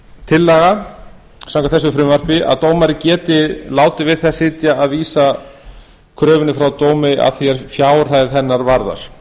tillaga samkvæmt þessu frumvarpi að dómari geti látið við það sitja að vísa kröfunni frá dómi að því er fjárhæð hennar varðar